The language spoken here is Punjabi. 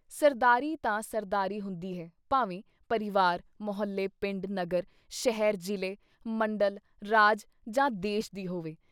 ਸਰਦਾਰੀ ਤਾਂ ਸਰਦਾਰੀ ਹੁੰਦੀ ਹੈ ਭਾਵੇਂ ਪਰਿਵਾਰ, ਮੁਹੱਲੇ, ਪਿੰਡ, ਨਗਰ, ਸ਼ਹਿਰ, ਜਿਲ੍ਹੇ, ਮੰਡਲ, ਰਾਜ ਜਾਂ ਦੇਸ਼ ਦੀ ਹੋਵੇ।